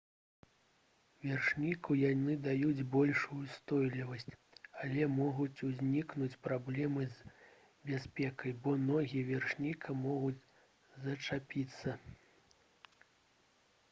вершніку яны даюць большую ўстойлівасць але могуць узнікнуць праблемы з бяспекай бо ногі вершніка могуць зачапіцца